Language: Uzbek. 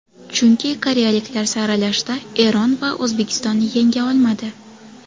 Chunki koreyaliklar saralashda Eron va O‘zbekistonni yenga olmadi.